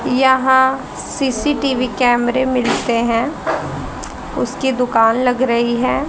यहा सी_सी_टी_वी कैमरे मिलते हैं उसकी दुकान लग रहीं हैं।